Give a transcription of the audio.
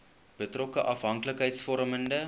betrokke afhanklikheids vormende